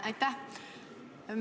Aitäh!